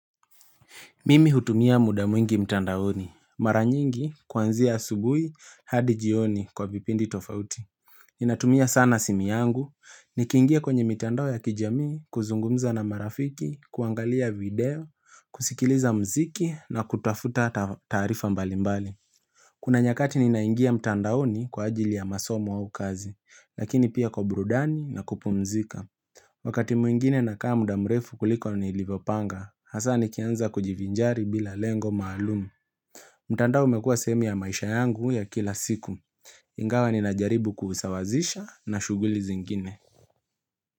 Mimi hutumia muda mwingi mtandaoni, mara nyingi kuanzia asubuhi hadi jioni kwa vipindi tofauti. Ninatumia sana simu yangu, nikiingia kwenye mitandao ya kijamii kuzungumza na marafiki, kuangalia video, kusikiliza muziki na kutafuta taarifa mbalimbali. Kuna nyakati ninaingia mtandaoni kwa ajili ya masomo au kazi, lakini pia kwa burudani na kupumzika. Wakati mwingine nakaa muda mrefu kuliko nilivyopanga, hasa nikianza kujivinjari bila lengo maalumu. Mtandao umekuwa sehemu ya maisha yangu ya kila siku. Ingawa ninajaribu kusawazisha na shughuli zingine.